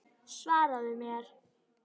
Svaraðu mér!